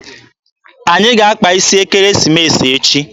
Anyị ga-akpa isi ekeresimesi echi.